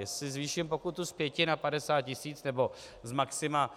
Jestli zvýším pokutu z pěti na 50 tisíc nebo z maxima